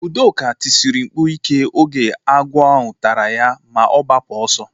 Udoka tisiri mkpu ike oge agwọ ahụ tara ya ma gbapụ ọsọ